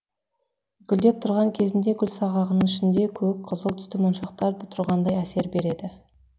гүлдеп тұрған кезінде гүлсағағының ішінде көк қызыл түсті моншақтар тұрғандай әсер береді